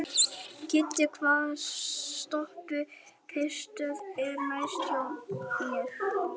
Kiddi, hvaða stoppistöð er næst mér?